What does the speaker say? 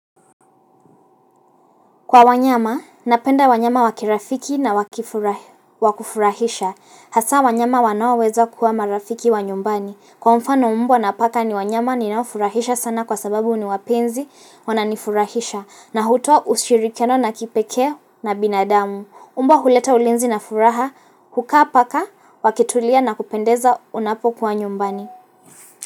Kwa wanyama, napenda wanyama wakirafiki na wakufurahisha. Hasa wanyama wanaoweza kuwa marafiki wa nyumbani. Kwa mfano mbwa na paka ni wanyama ninaofurahisha sana kwa sababu ni wapenzi wananifurahisha. Na hutwaa ushirikiano na kipekee na binadamu. Mbwa huleta ulinzi na furaha, huku paka, wakitulia na kupendeza unapokuwa nyumbani.